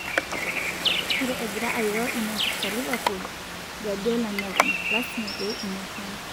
Ore egira airo inaipirta Livepool, Guardiola nepon:lasima pee inyoraa.